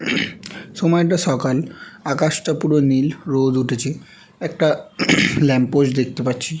সময়টা সকাল আকাশ টা পুরো নীল রোদ উঠেছে একটা ল্যম্প পোস্ট দেখতে পাচ্ছি।